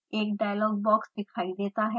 एक dialog box दिखाई देता है